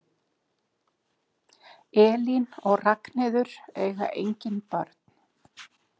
Elín og Ragnheiður eiga engin börn.